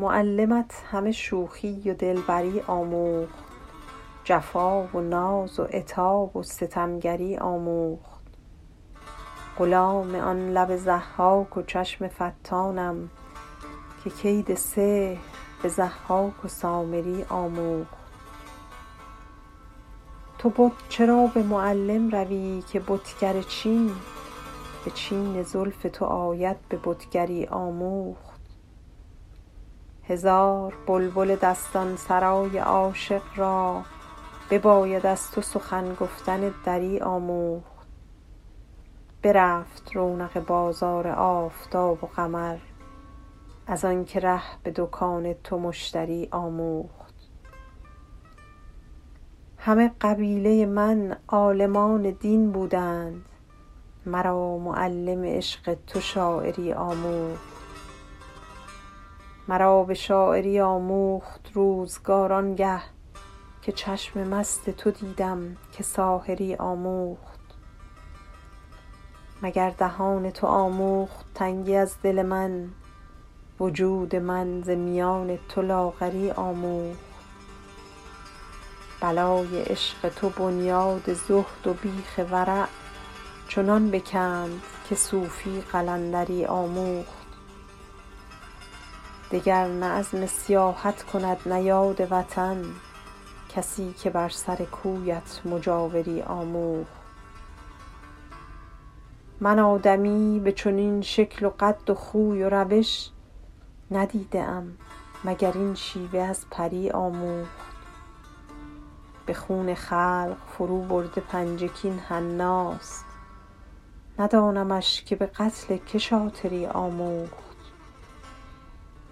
معلمت همه شوخی و دلبری آموخت جفا و ناز و عتاب و ستمگری آموخت غلام آن لب ضحاک و چشم فتانم که کید سحر به ضحاک و سامری آموخت تو بت چرا به معلم روی که بتگر چین به چین زلف تو آید به بتگری آموخت هزار بلبل دستان سرای عاشق را بباید از تو سخن گفتن دری آموخت برفت رونق بازار آفتاب و قمر از آن که ره به دکان تو مشتری آموخت همه قبیله من عالمان دین بودند مرا معلم عشق تو شاعری آموخت مرا به شاعری آموخت روزگار آن گه که چشم مست تو دیدم که ساحری آموخت مگر دهان تو آموخت تنگی از دل من وجود من ز میان تو لاغری آموخت بلای عشق تو بنیاد زهد و بیخ ورع چنان بکند که صوفی قلندری آموخت دگر نه عزم سیاحت کند نه یاد وطن کسی که بر سر کویت مجاوری آموخت من آدمی به چنین شکل و قد و خوی و روش ندیده ام مگر این شیوه از پری آموخت به خون خلق فروبرده پنجه کاین حناست ندانمش که به قتل که شاطری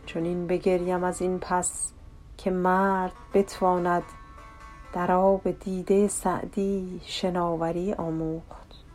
آموخت چنین بگریم از این پس که مرد بتواند در آب دیده سعدی شناوری آموخت